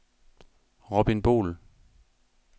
Robin Boel